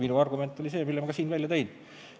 Minu argument oli see, mille ma ka siin välja tõin.